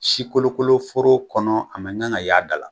Sikolokoloforo kɔnɔ a man kan k'a ye da la.